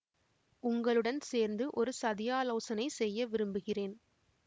உங்களுடன் சேர்ந்து ஒரு சதியாலோசனை செய்ய விரும்புகிறேன்